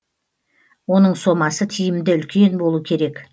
оның сомасы тиімді үлкен болу керек